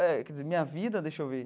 Eh quer dizer, minha vida, deixa eu ver.